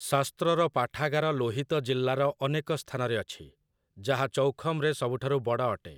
ଶାସ୍ତ୍ରର ପାଠାଗାର ଲୋହିତ ଜିଲ୍ଲାର ଅନେକ ସ୍ଥାନରେ ଅଛି, ଯାହା ଚୌଖମରେ ସବୁଠାରୁ ବଡ଼ ଅଟେ ।